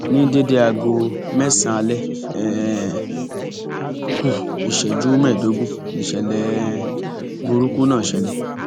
ní déédé aago mẹsànán alẹ um kù ìṣẹjú mẹẹẹdógún níṣẹlẹ um burúkú náà ṣẹlẹ